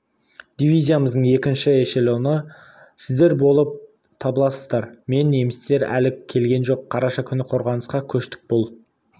дивизиямыздың екінші эшелоны сіздер болып табыласыздар мен немістер әлі келген жоқ қараша күні қорғанысқа көштік бұл